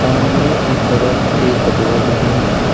सामने की तरफ एक रोड भी है।